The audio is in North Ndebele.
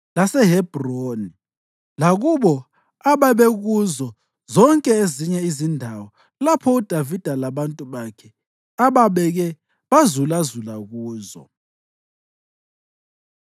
laseHebhroni; lakubo ababekuzo zonke ezinye izindawo lapho uDavida labantu bakhe ababeke bazulazula kuzo.